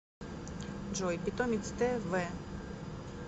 джой питомец тэ вэ